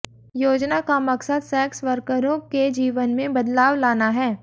योजना का मकसद सैक्स वर्करों के जीवन में बदलाव लाना है